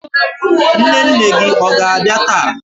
Nne nne gị ọ ga-abịa taa?